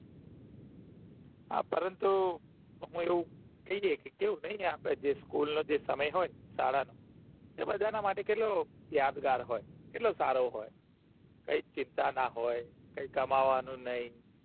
હા પરંતુ હું અમુક એવું થઇ જાય કે કવું થઇ ને અપડે જે school સમય હોય શાળા નો એ બાધાના માટે કેટલો યાદ ઘાર હોય કેટલો સારો હોય કૈક ચિંતા ના હોય કઈ કમાવાનું નઈ